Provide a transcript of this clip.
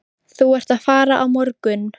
Þú ert að fara á morgun.